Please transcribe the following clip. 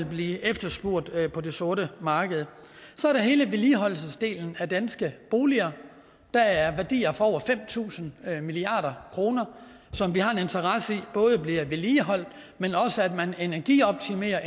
blevet efterspurgt på det sorte marked så er der hele vedligeholdelsesdelen af danske boliger der er værdier for over fem tusind milliard kroner som vi har en interesse i både bliver vedligeholdt men også energioptimeret